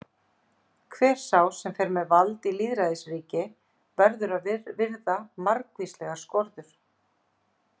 Hver sá sem fer með vald í lýðræðisríki verður að virða margvíslegar skorður.